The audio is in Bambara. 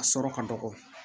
A sɔrɔ ka dɔgɔ